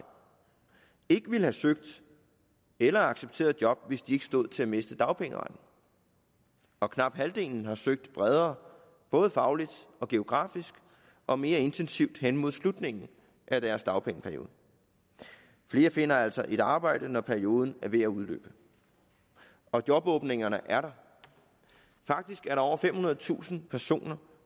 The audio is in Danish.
ikke ville have søgt eller accepteret et job hvis de ikke stod til at miste dagpengeretten og knap halvdelen har søgt bredere både fagligt og geografisk og mere intensivt hen mod slutningen af deres dagpengeperiode flere finder altså et arbejde når perioden er ved at udløbe og jobåbningerne er der faktisk er der over femhundredetusind personer